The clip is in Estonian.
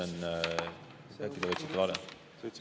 Äkki te võtsite vale.